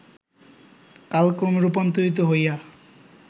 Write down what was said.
কালক্রমে রূপান্তরিত হইয়া